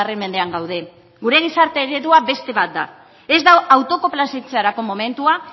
mendean gaude gure gizarte eredua beste bat da ez da autokonplazentziarako momentua